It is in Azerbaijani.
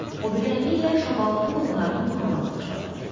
O barmağı ilə şabaldı bığlarını burmağa başladı.